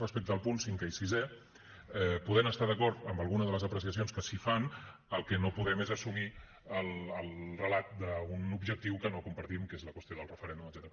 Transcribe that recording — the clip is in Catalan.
respecte als punts cinquè i sisè podent estar d’acord amb alguna de les apreciacions que s’hi fan el que no podem és assumir el relat d’un objectiu que no compartim que és la qüestió del referèndum etcètera